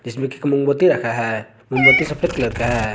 इसमें एक मोमबत्ती रखा है मोमबत्ती सफेद कलर का है।